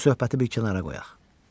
Bu söhbəti bir kənara qoyaq.